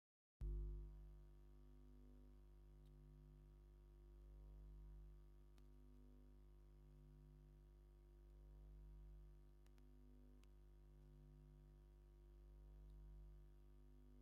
ኣብቲ መኖርያ ዕራትን ሶፋን ኣሎ ። እቲ ዓራት ቀይሕ ሕብሪ እንትህልዎ ኣንሰልኡ ድም ፃዕዳ ሕብሪ ኣለዎ ። እቲ ዓራት ክንደይ ቅርሺ ይውድእ ?